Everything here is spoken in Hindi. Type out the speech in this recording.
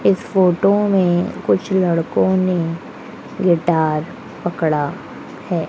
इस फोटो में कुछ लड़कों ने गिटार पकड़ा है।